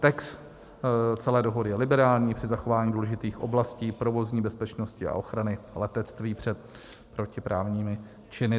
Text celé dohody je liberální při zachování důležitých oblastí provozní bezpečnosti a ochrany letectví před protiprávními činy.